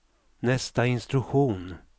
nästa instruktion